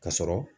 Ka sɔrɔ